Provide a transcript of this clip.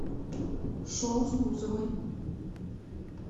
шоу с бузовой